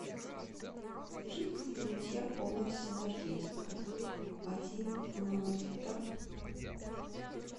жидкость для мытья пола синергетика один литр